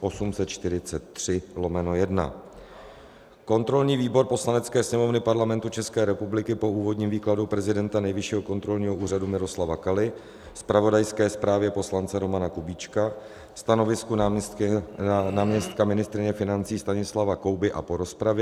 Kontrolní výbor Poslanecké sněmovny Parlamentu České republiky po úvodním výkladu prezidenta Nejvyššího kontrolního úřadu Miloslava Kaly, zpravodajské zprávě poslance Romana Kubíčka, stanovisku náměstka ministryně financí Stanislava Kouby a po rozpravě